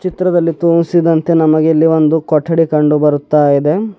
ಚಿತ್ರದಲ್ಲಿ ತೋರಿಸಿದಂತೆ ನಮಗಿಲ್ಲಿ ಒಂದು ಕೊಠಡಿ ಕಂಡು ಬರುತ್ತಾಇದೆ.